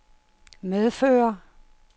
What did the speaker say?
medfører